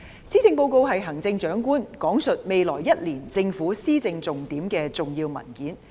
施政報告是行政長官闡述未來1年政府施政重點的重要文件。